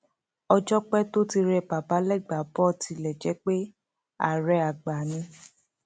ọjọ pẹ tó ti rẹ bàbá légbàbọ tilẹ jẹ pé àárẹ àgbà ni